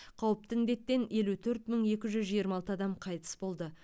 қауіпті індеттен елу төрт мың екі жүз жиырма алты адам қайтыс болды